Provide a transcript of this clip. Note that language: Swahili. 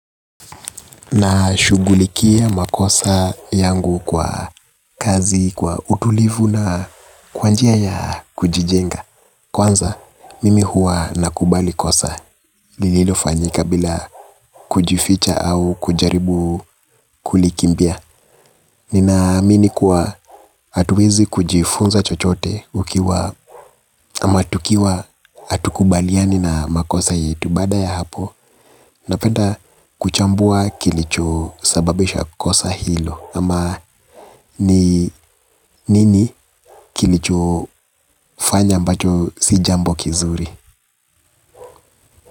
Na shughulikia makosa yangu kwa kazi, kwa utulivu na kwa njia ya kujijenga. Kwanza, mimi huwa nakubali kosa. Lililo fanyika bila kujificha au kujaribu kulikimbia. Nina amini kuwa hatuwezi kujifunza chochote ukiwa ama tukiwa hatukubaliani na makosa yetu. Baada ya hapo, napenda kuchambua kilicho sababisha kosa hilo. Ama ni nini kilicho fanya ambacho si jambo kizuri.